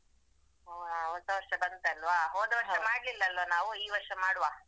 ಹಾ ಹೊಸವರ್ಷ ಬಂತಲ್ವಾ ಹೋದವರ್ಷ ಮಾಡ್ಲಿಲಲ್ಲ ನಾವು ಈ ವರ್ಷ ಮಾಡುವ.